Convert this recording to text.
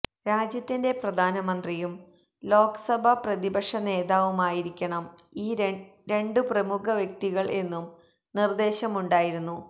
രാജ്യത്തിന്റെ പ്രധാനമന്ത്രിയും ലോക്സഭാ പ്രതിപക്ഷ നേതാവുമായിരിക്കണം ഈ രണ്ടു പ്രമുഖ വ്യക്തികള് എന്നും നിര്ദേശമുണ്ടായിരുന്നു